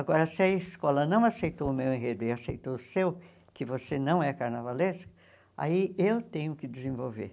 Agora, se a escola não aceitou o meu enredo e aceitou o seu, que você não é carnavalesco, aí eu tenho que desenvolver.